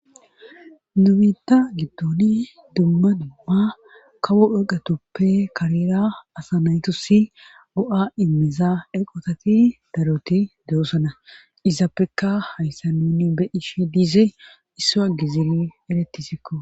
nu biitta gidoni dumma dumma kawo eqotuppe karera asa na7itussi go7aa immiza eqotati daroti de7oosona izapekka hayssan nuni be7ishe dizey issuwa giziri beettisikko.